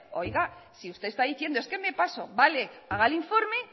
oiga si usted está diciendo es que me paso vale haga el informe